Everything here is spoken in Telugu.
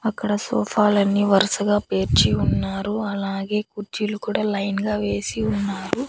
అక్కడ సోఫాలన్ని వరుసగా పేర్చి ఉన్నారు అలాగే కుర్చీలు కూడా లైన్ గా వేసి ఉన్నారు.